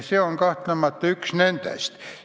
See on kahtlemata üks nendest.